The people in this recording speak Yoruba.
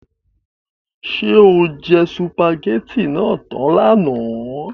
Ṣé o jẹ sùpàgétì náà tán lánàá?